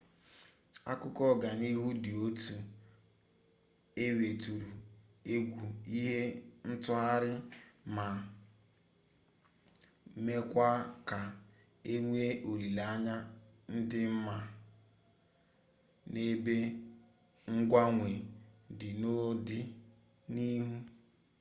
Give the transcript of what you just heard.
akụkọ ọganihu dị otu a weturu egwu ihe ntụgharị ma mekwaa ka enwee olileanya di mma n'ebe mgbanwe dị n'ọdị n'ihu